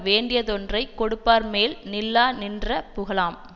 வேண்டியதொன்றைக் கொடுப்பார்மேல் நில்லாநின்ற புகழாம்